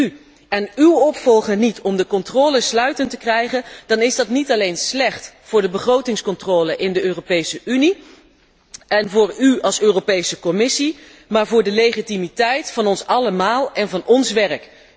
Lukt het u en uw opvolger niet om de controle sluitend te krijgen, dan is dat niet alleen slecht voor de begrotingscontrole in de Europese Unie en voor u als Europese Commissie, maar voor de legitimiteit van ons allemaal en van ons werk.